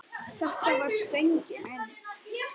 Þetta var stöngin inn!